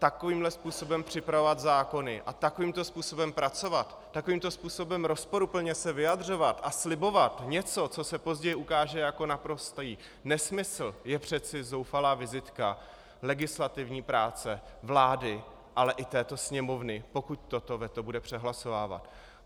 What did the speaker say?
Takovýmhle způsobem připravovat zákony a takovýmto způsobem pracovat, takovýmto způsobem rozporuplně se vyjadřovat a slibovat něco, co se později ukáže jako naprostý nesmysl, je přece zoufalá vizitka legislativní práce vlády, ale i této Sněmovny, pokud toto veto bude přehlasovávat.